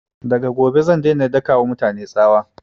Daga gobe zan daina daka wa mutane tsawa